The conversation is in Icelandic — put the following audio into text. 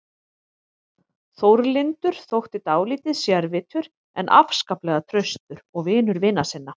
Þórlindur þótti dálítið sérvitur en afskaplega traustur og vinur vina sinna.